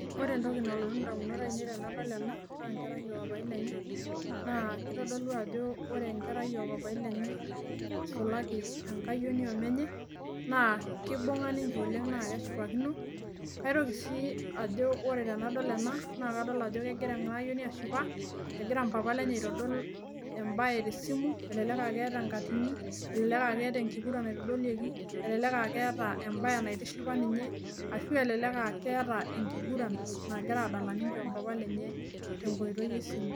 Ore etoki nalotu indamunot ainei tenadol ena, naa enkerai oo papai lenye. Naa kitodolu ajo ore, enkerai oo papai lenye eisulaki enkayioni oo menye naa, kibunga ninche oleng naa keshipakino. Kaitoki sii ajo wore tenadol ena kadol ajo kegira ena ayioni ashipaa, egira mpapa lenye aitodol ebae te simu, elelek ake keeta enkatini, elelek ah keeta ekinguran naitodolieki, elelek ah keeta ebae naitishipa ninye ashu, elelek ah keeta ekinguran nagira adala ninye oo mpapa lenye tenkoitoi esimu.